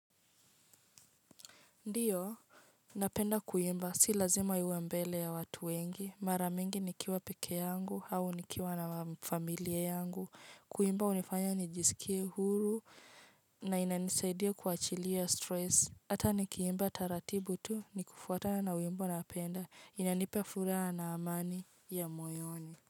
Ndiyo, napenda kuimba, si lazima iwe mbele ya watu wengi. Maramingi nikiwa peke yangu au nikiwa na familia yangu. Kuimba unifanya nijisikie huru na inanisaidia kuachilia stress. Hata nikiimba taratibu tu ni kufuatana na wimbo napenda. Inanipe furaha na amani ya moyoni.